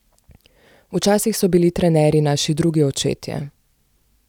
Včasih so bili trenerji naši drugi očetje.